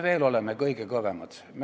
Milles me oleme kõige kõvemad?